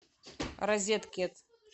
розет кид